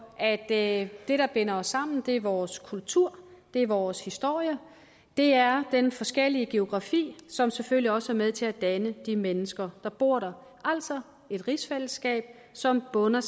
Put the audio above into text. at det der binder os sammen er vores kultur er vores historie og det er den forskellige geografi som selvfølgelig også er med til at danne de mennesker der bor der altså et rigsfællesskab som bunder